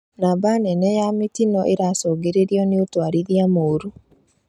Namba nene ya mĩtino ĩracũngĩrĩrio nĩ ũtwarithia mũru